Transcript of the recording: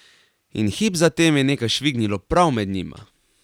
In hip zatem je nekaj švignilo prav med njima.